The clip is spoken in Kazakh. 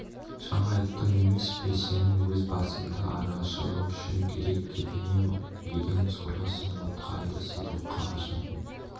жаңа айттым емес пе сенің өз басыңды арашалау үшін керек деп не деген сорлысың отқа айдаса боққа қашатын